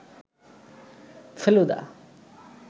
Feluda